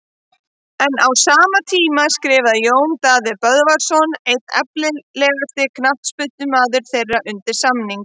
En á sama tíma skrifaði Jón Daði Böðvarsson einn efnilegasti knattspyrnumaður þeirra undir samning.